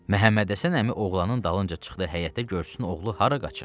Məhəmmədhəsən əmi oğlanın dalınca çıxdı həyətə, görsün oğlu hara qaçır?